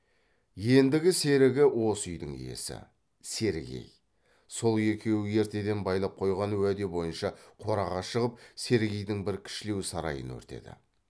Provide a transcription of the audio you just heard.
ендігі серігі осы үйдің иесі сергей сол екеуі ертеден байлап қойған уәде бойынша қораға шығып сергейдің бір кішілеу сарайын өртеді